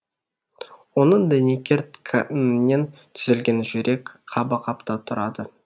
оның дәнекер тканінен түзілген жүрек қабы қаптап тұрады